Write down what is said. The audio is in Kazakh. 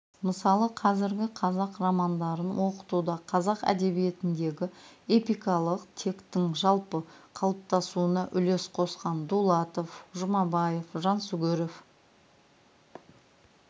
мысалы қазіргі қазақ романдарын оқытуда қазақ әдебиетіндегі эпикалық тектің жалпы қалыптасуына үлес қосқан дулатов жұмабаев жансүгіров